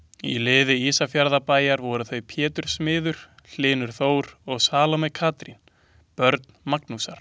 Í liði Ísafjarðarbæjar voru þau Pétur smiður, Hlynur Þór og Salóme Katrín, börn Magnúsar.